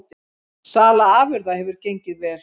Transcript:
Sala afurða hefur gengið vel